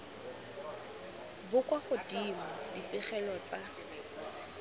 bo kwa godimo dipegelo tsa